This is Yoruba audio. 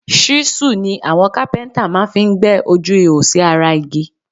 Ṣíṣù ni àwọn kápẹ́ntà máa fí ń gbẹ́ ojú ihò sí ara igi